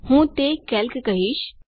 હું તે કેલ્ક કહીશ